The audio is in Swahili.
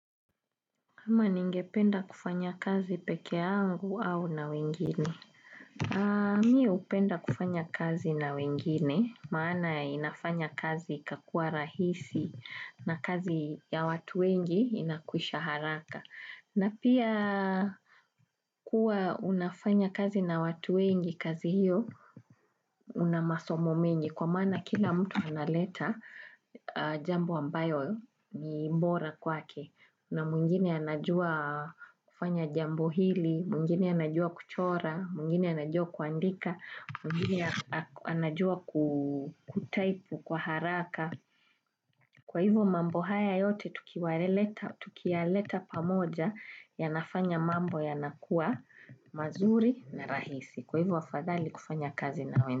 Hama ningependa kufanya kazi peke yangu au na wengine. Mi upenda kufanya kazi na wengine, maana inafanya kazi kakua rahisi na kazi ya watu wengi inakwisha haraka. Na pia kuwa unafanya kazi na watu wengi kazi hiyo unamasomo mengi. Kwa maana kila mtu analeta jambo ambayo ni bora kwake. Na muingine anajua kufanya jambo hili, muingiei anajua kuchora, muingine anajua kuandika, mungine anajua kutaipu kwa haraka. Kwa hivyo mambo haya yote tukiwa leta, tukiwa leta pamoja yanafanya mambo ya nakuwa mazuri na rahisi. Kwa hivyo fadhali kufanya kazi na wenda.